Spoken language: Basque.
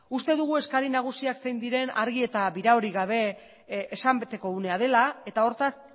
uste dugu eskari nagusiak zein diren argi eta biraorik gabe esan beteko unea dela eta hortaz